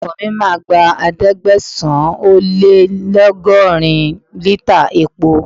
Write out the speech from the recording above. Ọkọ̀ mi máa gba ẹ̀ẹ́dẹ́gbẹ̀sán - ó - lé - lọ́gọ́rin lítà epo.